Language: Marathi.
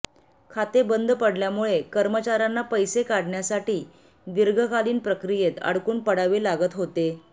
खाते बंद पडल्यामुळे कर्मचार्यांना पैसे काढण्यासाठी दीर्घकालीन प्रक्रियेत अडकून पडावे लागत होते